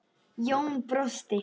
Jón brosti.